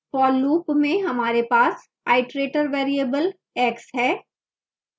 for loop में हमारे पास iterator variable x है